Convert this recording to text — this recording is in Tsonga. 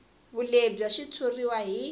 vulehi bya xitshuriwa hi